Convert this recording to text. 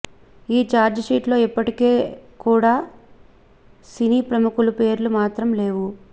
ఈ చార్జీషీట్లలో ఇప్పటికీ కూడ సినీ ప్రముఖుల పేర్లు మాత్రం లేవు